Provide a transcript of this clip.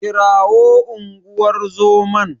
Kirawo unguwar zoman.